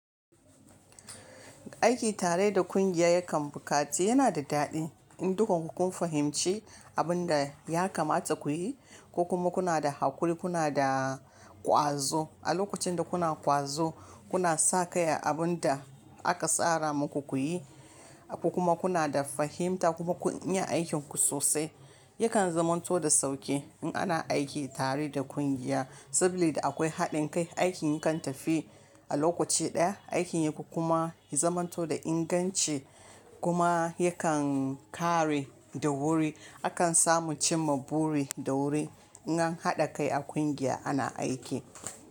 Aiki tare da kungiya yakan buƙaci yana da daɗi in dukan ku kun fahimci abin da ya kamata ku yi. Ku kuma kuna da haƙuri, kuna da ƙwazo a lokacin da kuna ƙwazo, kuna sakai a abun da aka tsara muku ku yi. Ku kuma kuna da fahimta kuma kun iya aikinku sosai. Yakan zamanto da sauƙi in ana aiki tare da kungiya sabida akwai haɗin kai. Aikin yakan tafi a lokaci ɗaya, aikin yakun kuma ya zamanto da inganci kuma yakan ƙare da wuri. Akan samu cimma buri da wuri in an haɗa kai a kungiya ana aiki.